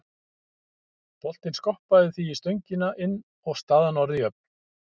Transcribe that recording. Boltinn skoppaði því í stöngina inn og staðan orðin jöfn.